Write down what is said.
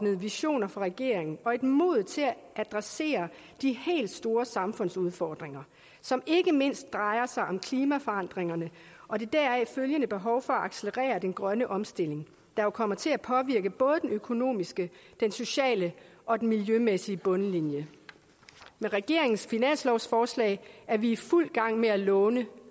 visioner for regeringen og et mod til at adressere de helt store samfundsudfordringer som ikke mindst drejer sig om klimaforandringerne og det deraf følgende behov for at accelerere den grønne omstilling der jo kommer til at påvirke både den økonomiske den sociale og den miljømæssige bundlinje med regeringens finanslovsforslag er vi i fuld gang med at låne